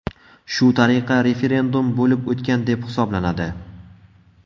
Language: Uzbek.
Shu tariqa, referendum bo‘lib o‘tgan deb hisoblanadi.